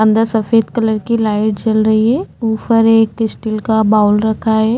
अंदर सफ़ेद कलर की लाइट जल रही है ऊपर एक स्टील का बाउल रखा है।